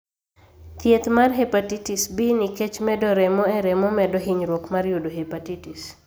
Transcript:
Thieth mar hepatitis B nikech medo remo e remo medo hinyruok mar yudo hepatitis.